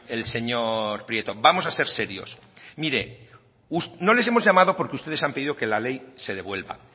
el señor prieto vamos a ser serios mire no les hemos llamado porque ustedes han pedido que la ley se devuelva